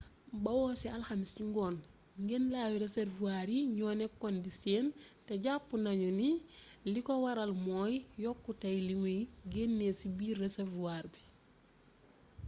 bawoo ci alxamis ci ngoon ngenlawi reservoir yi ñoo nekkoon di seen te jàpp nañu ni liko waral mooy yokkutey limuy génnee ci biir reservoir bi